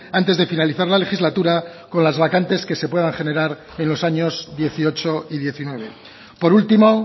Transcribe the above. antes de finalizar la legislatura con las vacantes que se puedan generar en los años dieciocho y diecinueve por último